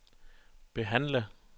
behandle